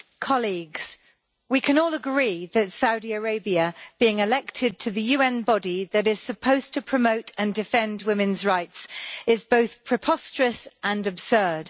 Mr President, we can all agree that Saudi Arabia being elected to the UN body that is supposed to promote and defend women's rights is both preposterous and absurd.